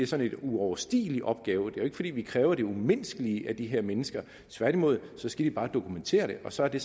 sådan en uoverstigelig opgave det er jo ikke fordi vi kræver det umenneskelige af de her mennesker tværtimod skal de bare dokumentere det og så er det